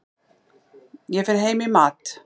Ég fer heim í mat.